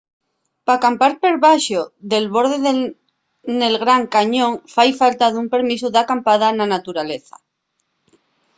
p’acampar per debaxo del borde nel gran cañón fai falta un permisu d’acampada na naturaleza